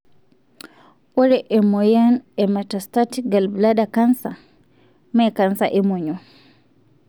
ore emoyiana na metastatic gallbladder canser, mee canser emonyua.